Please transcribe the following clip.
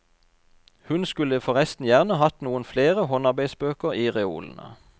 Hun skulle forresten gjerne hatt noen flere håndarbeidsbøker i reolene.